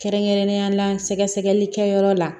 Kɛrɛnkɛrɛnnenya la sɛgɛsɛgɛlikɛyɔrɔ la